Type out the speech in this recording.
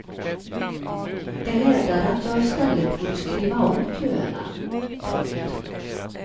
De hävdade att jag i stället borde skriva om köerna. punkt